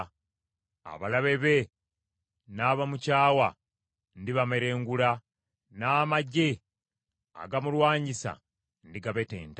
Abalabe be n’abamukyawa ndibamerengula, n’amaggye agamulwanyisa ndigabetenta.